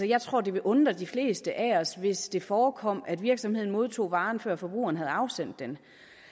jeg tror det ville undre de fleste af os hvis det forekom at virksomheden modtog varen før forbrugeren havde afsendt den